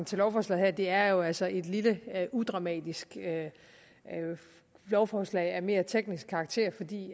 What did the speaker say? til lovforslaget det er jo altså et lille udramatisk lovforslag af mere teknisk karakter fordi